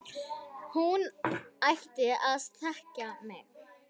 Hún ætti að þekkja mig!